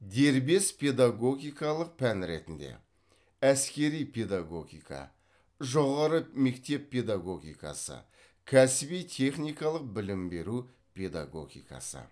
дербес педагогикалық пән ретінде әскери педагогика жоғары мектеп педагогикасы кәсіби техникалық білім беру педагогикасы